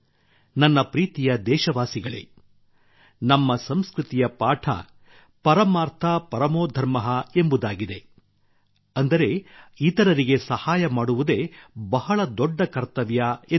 ನನ್ನ ಪ್ರೀತಿಯ ದೇಶವಾಸಿಗಳೇ ನಮ್ಮ ಸಂಸ್ಕೃತಿಯ ಪಾಠ ಪರಮಾರ್ಥ ಪರಮೋ ಧರ್ಮಃ ಎಂಬುದಾಗಿದೆ ಅಂದರೆ ಇತರರಿಗೆ ಸಹಾಯ ಮಾಡುವುದೇ ಬಹಳ ದೊಡ್ಡ ಕರ್ತವ್ಯ ಎಂದರ್ಥ